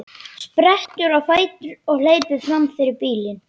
Sprettur á fætur og hleypur fram fyrir bílinn.